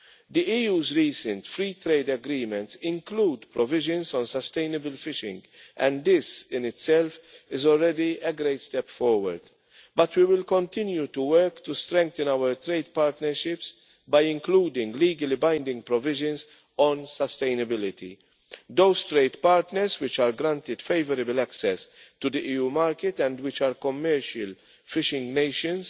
The EU's recent free trade agreements include provisions on sustainable fishing, and this in itself is already a great step forward. But we will continue to work to strengthen our trade partnerships by including legally binding provisions on sustainability. Those trade partners which are granted favourable access to the EU market and which are commercial fishing nations